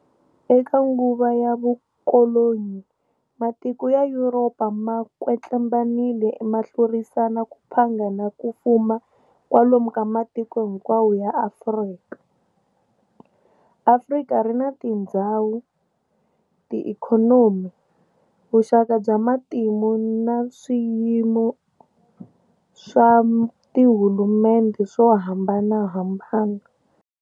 Eka nguva ya vukolonyi matiko ya Yuropa ma kwetlembanile mahlurisana ku phanga na kufuma kwalomu ka matiko hinkwawo ya Afrika. Afrika rina tindzhawu, tiikhonomi, vuxaka bya matimu na swiyimo swa tihulumendhe swo hambanahambana.